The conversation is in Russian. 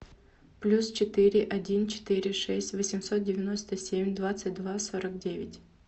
плюс четыре один четыре шесть восемьсот девяносто семь двадцать два сорок девять